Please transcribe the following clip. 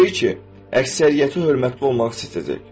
Təbii ki, əksəriyyəti hörmətli olmaq istəyəcək.